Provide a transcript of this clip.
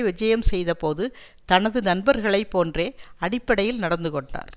விஜயம் செய்த போது தனது நண்பர்களை போன்றே அடிப்படையில் நடந்து கொண்டார்